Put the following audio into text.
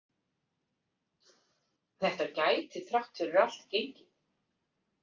Þetta gæti þrátt fyrir allt gengið.